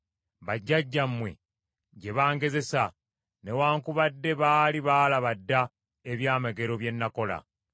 bajjajjammwe gye bangezesa; newaakubadde baali baalaba dda ebyamagero bye nakola.